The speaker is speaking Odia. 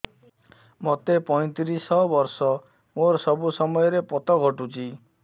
ମୋତେ ପଇଂତିରିଶ ବର୍ଷ ମୋର ସବୁ ସମୟରେ ପତ ଘଟୁଛି